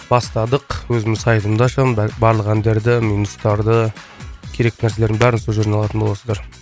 бастадық өзімнің сайтымды ашамын барлық әндерді минустарды керекті нәрселердің бәрін сол жерден алатын боласыздар